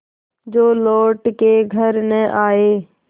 जो लौट के घर न आये